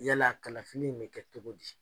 Yala kalafili in bɛ kɛ cogo di?